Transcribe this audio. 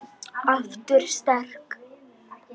Aftur sterk.